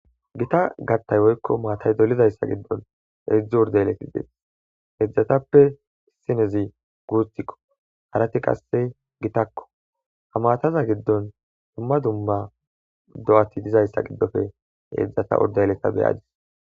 gita gattay woykko maatay dolizayssa giddon eidzdze urde yeletti dees heedzdzatappe sinezi guutikko harati qasse gitakko ha mataza giddon dumma dumma do7ati dizayssa giddofe heedzdzata urde yeletta beyadis